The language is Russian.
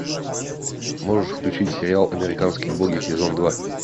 можешь включить сериал американские боги сезон два